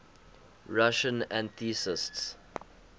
russian atheists